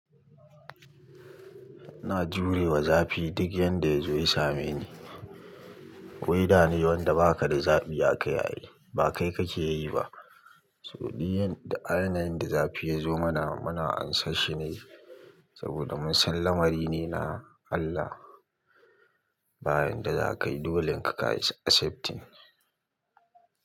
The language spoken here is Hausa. Ina jurewa zafi duk yanda ya zo ya same ni. Wai dane wanda baka da zabi akai ai, ba kai kake yi ba. So duk yin da ainihin da zafi ya zo mana muna ansashi ne saboda mun san lamari ne na Allah. Bayan da za kayi dolenka kai accept.